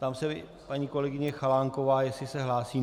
Ptám se paní kolegyně Chalánkové, jestli se hlásí.